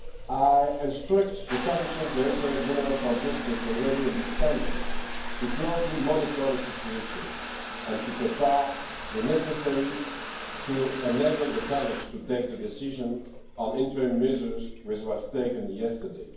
I instructed the Commission's Directorate General for Justice already in December to closely monitor the situation and to prepare the necessary to enable the College to take the decision on interim measures, which was taken yesterday.